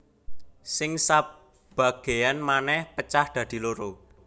Sing sabagéyan manèh pecah dadi loro